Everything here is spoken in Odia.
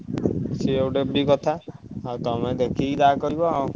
ସିଏ ଗୋଟେ ବି କଥା ଆଉ ତମେ ଦେଖିବ ଯାହା କରିବ ଆଉ।